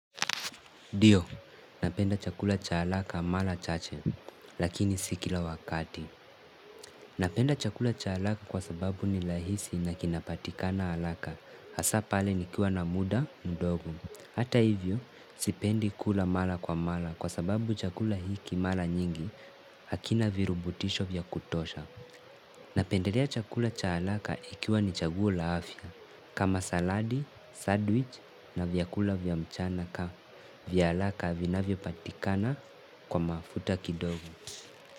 Ndio, napenda chakula cha haraka mara chache, lakini si kila wakati. Napenda chakula cha haraka kwa sababu ni rahisi na kinapatikana haraka, hasa pale nikiwa na muda, mdogo. Hata hivyo, sipendi kula mara kwa mara kwa sababu chakula hiki mara nyingi, hakina virubutisho vya kutosha. Napendelea chakula cha haraka ikiwa ni chaguo la afya kama saladi, sadwich na vyakula vya mchana ka vya haraka vinavyopatikana kwa mafuta kidogo.